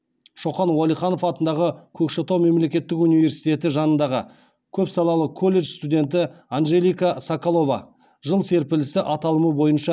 шоқан уәлиханов атындағы көкшетау мемлекеттік университеті жанындағы көпсалалы колледж студенті анжелика соколова жыл серпілісі аталымы бойынша